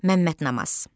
Məmməd Namaz.